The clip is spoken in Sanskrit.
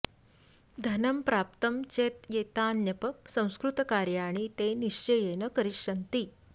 धनं प्राप्तं चेद् एतान्यप संस्कृतकार्याणि ते निश्चयेन करिष्यन्ति